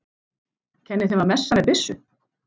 Kenni þeim að messa með byssu?